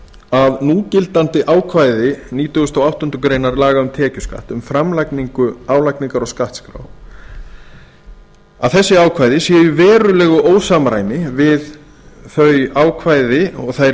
að núgildandi ákvæði nítugasta og áttundu grein laga um tekjuskatt um framlagningu álagningar og skattskráa séu í verulegu ósamræmi við þau ákvæði og þær